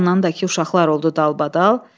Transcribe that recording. Bir yandan da ki, uşaqlar oldu dalbadal.